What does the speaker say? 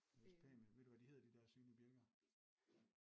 Det er også pænt med ved du hvad de hedder de dér synlige bjælker?